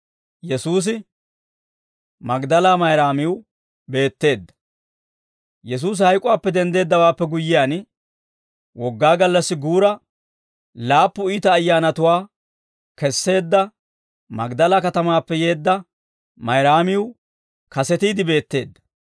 Yesuusi hayk'uwaappe denddeeddawaappe guyyiyaan, Wogaa gallassi guura, laappu iita ayyaanatuwaa kesseedda Magdala katamaappe yeedda Mayraamiw kasetiide beetteedda.